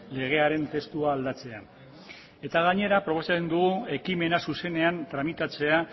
legearen testua aldatzea eta gainera proposatzen dugu ekimena zuzenean tramitatzea